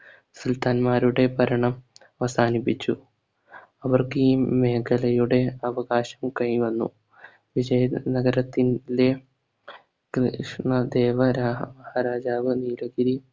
സുൽത്താൻമാരുടെ ഭരണം അവസാനിപ്പിച്ചു. അവർക്ക് ഈ മേഖലയുടെ അവകാശം കൈവന്നു വിജയനഗരത്തിന്റെ കൃഷ്ണദേവരാഹ മഹാരാജാവ് നീലഗിരി